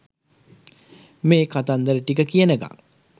මේ කතන්දර ටික කියනකං